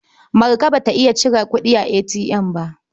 Marka ba ta iya cire kuɗi a ATM ba.